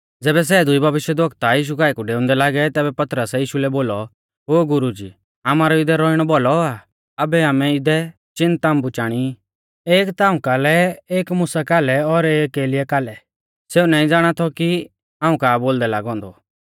ज़ैबै सै दुई भविष्यवक्ता यीशु काऐ कु डेऊंदै लागै तैबै पतरसै यीशु लै बोलौ ओ गुरुजी आमारौ इदै रौइणौ भौलौ आ आबै आमै इदै चिन ताम्बु चाणी एक ताऊं कालै एक मुसा कालै और एक एलियाह कालै सेऊ नाईं ज़ाणा थौ कि हाऊं का बोलदै ऊ लागौ औन्दौ